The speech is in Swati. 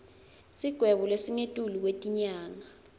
sigwebo lesingetulu kwetinyanga